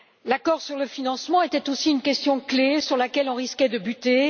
L'accord sur le financement était aussi une question clé sur laquelle on risquait de buter.